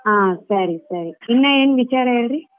ಹಾ ಸರಿ ಸರಿ ಇನ್ನಾ ಏನ್ ವಿಚಾರ ಹೇಳ್ರಿ?